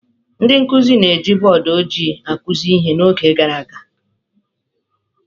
Ndị nkụzi na-eji bọọdụ ojịi akụzi ihe n’oge gara aga.